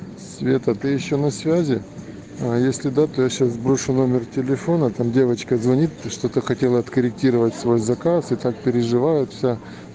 света ты ещё на связи а если да то я сейчас сброшу номер телефона там девочка звонит ты что-то хотел откорректировать свой заказ и так переживают что